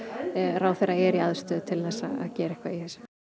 ráðherra er í aðstöðu til að gera eitthvað í